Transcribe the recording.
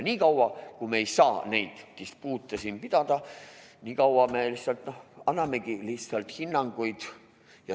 Niikaua kui me ei saa neid dispuute pidada, niikaua me annamegi lihtsalt hinnanguid.